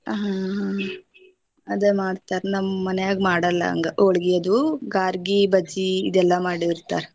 ಹಾ ಹಾ ಅದ ಮಾಡ್ತಾರ ನಮ ಮನ್ಯಾಗ ಮಾಡಲ್ಲ ಹಂಗ ಹೊಳ್ಗಿ ಅದು ಗಾರ್ಗಿ ಬಜಿ ಇದೆಲ್ಲಾ ಮಾಡಿರ್ತಾರ.